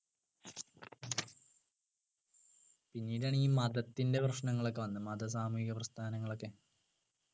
പിന്നീടാണ് ഈ മതത്തിന്റെ പ്രശ്നങ്ങൾ ഒക്കെ വന്നത് മത സാമൂഹിക പ്രസ്ഥാനങ്ങളൊക്കെ